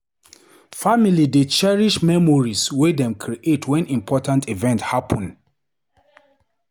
Family dey cherish memories wey dem create wen important event happun.